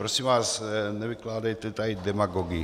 Prosím vás, nevykládejte tady demagogii.